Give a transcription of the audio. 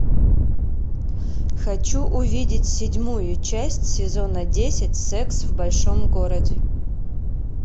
хочу увидеть седьмую часть сезона десять секс в большом городе